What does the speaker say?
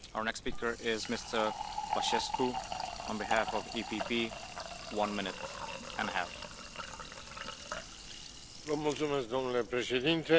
Domnule președinte, protejat de dorința Uniunii Europene de a avea cu orice preț un acord nuclear,